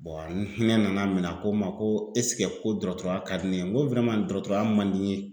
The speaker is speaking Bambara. hinɛ nana minɛ a ko n ma ko ko dɔgɔtɔrɔya ka di ne ye. N ko dɔgɔtɔrɔya man di n ye.